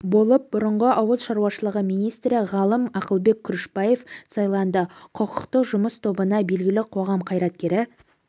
болып бұрынғы ауыл шаруашылығы министрі ғалым ақылбек күрішбаев сайланды құқықтық жұмыс тобына белгілі қоғам қайраткері